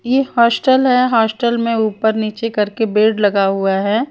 ये हॉस्टल है हॉस्टल में ऊपर नीचे करके बेड लगा हुआ है।